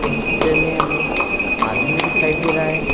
इस चित्र में हमें एक आदमी दिखाई दे रहा है।